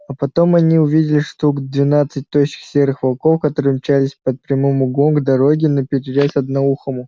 а потом они увидели штук двенадцать тощих серых волков которые мчались под прямым углом к дороге наперерез одноухому